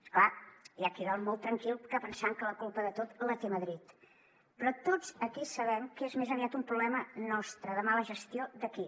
és clar hi ha qui dorm molt tranquil pensant que la culpa de tot la té madrid però tots aquí sabem que és més aviat un problema nostre de mala gestió d’aquí